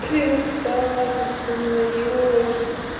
ты не так распознаёшь